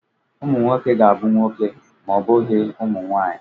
Ụmụ nwoke ga-abụ nwoke ma ọ bụghị ụmụ nwaanyị.